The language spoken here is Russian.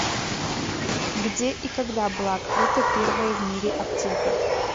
где и когда была открыта первая в мире аптека